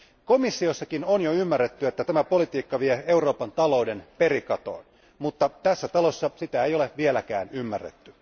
Komissiossakin on jo ymmärretty, että tämä politiikka vie Euroopan talouden perikatoon, mutta tässä talossa sitä ei ole vieläkään ymmärretty.